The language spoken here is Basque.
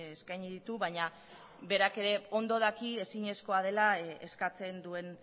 eskaini ditu baina berak ere ondo daki ezinezkoa dela eskatzen duen